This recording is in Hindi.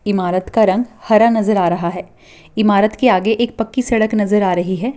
ईमारत का रंग हरा नज़र आ रहा है ईमारत के आगे एक पक्की सड़क नज़र आ रही है।